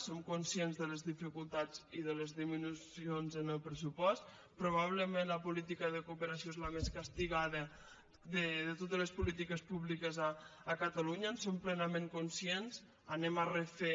som conscients de les dificultats i de les disminucions en el pressupost probablement la política de cooperació és la més castigada de totes les polítiques públiques a catalunya en som plenament conscients anem a refer